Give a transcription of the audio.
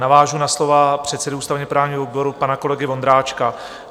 Navážu na slova předsedy ústavně-právního výboru pana kolegy Vondráčka.